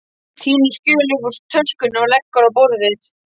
Tínir skjöl upp úr töskunni og leggur á borðið.